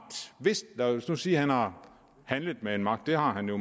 lad os nu sige at han har handlet med en magt det har han jo